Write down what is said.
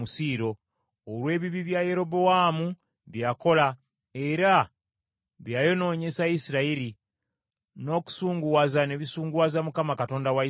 olw’ebibi bya Yerobowaamu bye yakola, era bye yayonoonyesa Isirayiri, n’okusunguwaza ne bisunguwaza Mukama Katonda wa Isirayiri.